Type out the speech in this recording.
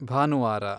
ಭಾನುವಾರ